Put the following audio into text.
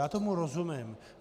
Já tomu rozumím.